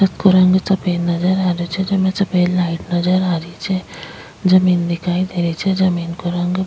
छत को रंग सफेद नजर आ रहियो छे जिमे सफ़ेद लाइट नजर आ रही छे जमीन दिखाई दे रही छे जमीन को रंग --